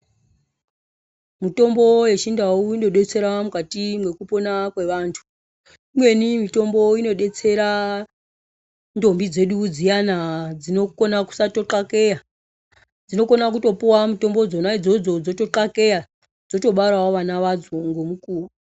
Mutombo yechindau inodetsera mukati mwekupona kwevanthu. Imweni mutombo unodetsera ndombi dzedu dziyana dzinokona kusatoqakeya, dzinokona kutopuwa mitombo dzona idzodzo dzoto qakeya, dzotobarawo vana vadzo ngemukuwo.